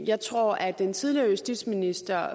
jeg tror at den tidligere justitsminister